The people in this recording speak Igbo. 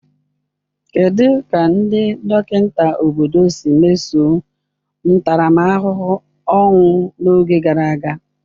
kedụ ka ndị dọkịta obodo si mesoo ntaramahụhụ ọnwụ n'oge gara aga?